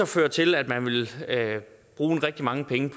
føre til at man vil bruge rigtig mange penge